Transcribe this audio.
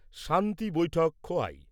শান্তি বৈঠক খোয়াই